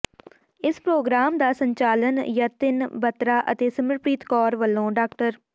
ਇਸ ਪ੍ਰੋਗਰਾਮ ਦਾ ਸੰਚਾਲਨ ਯਤਿਨ ਬਤਰਾ ਅਤੇ ਸਿਮਰਪ੍ਰੀਤ ਕੌਰ ਵੱਲੋਂ ਡਾ